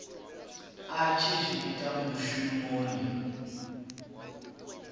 a tshi zwi ita mushumoni